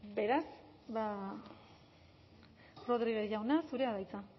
beraz ba rodriguez jauna zurea da hitza